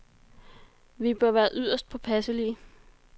Vi bør være yderst påpasselige.